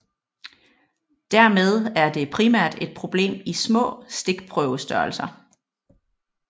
Dermed er det primært et problem i små stikprøvestørrelser